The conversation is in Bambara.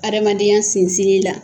Adamaden sinsin la